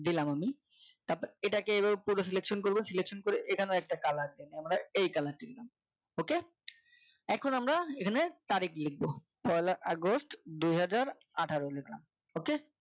দিলাম আমি তারপরে এটাকে এভাবে পুরোটা Selection করবেন Selection করে এখানে একটা Colour দেবেন আমরা এই Colour টা নিলাম ok এখন আমরা এখানে তারিখ লিখব পহেলা আগস্ট দুহাজার আঠারো লিখলাম ok